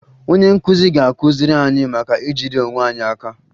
Onye nkụzi ga-akụziri anyị maka ijide onwe anyị aka